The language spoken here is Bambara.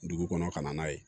Dugu kɔnɔ ka na n'a ye